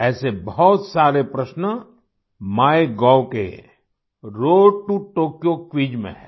ऐसे बहुत सारे प्रश्न MyGovके रोड टो टोक्यो क्विज में हैं